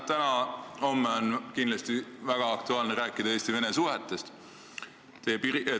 Täna-homme on kindlasti väga aktuaalne rääkida Eesti-Vene suhetest.